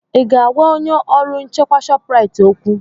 Ị ga-agwa onye ọrụ nchekwa Shọpraịt okwu?